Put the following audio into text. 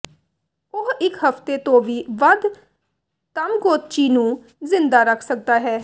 ਉਹ ਇੱਕ ਹਫ਼ਤੇ ਤੋਂ ਵੀ ਵੱਧ ਤਾਮਗੋਤਚੀ ਨੂੰ ਜ਼ਿੰਦਾ ਰੱਖ ਸਕਦਾ ਹੈ